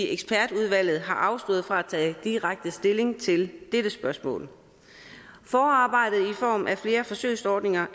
ekspertudvalget har afstået fra at tage direkte stilling til dette spørgsmål forarbejdet i form af flere forsøgsordninger